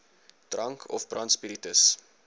drank of brandspiritus